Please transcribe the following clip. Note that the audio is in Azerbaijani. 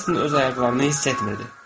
Helsing öz ayaqlarını hiss etmirdi.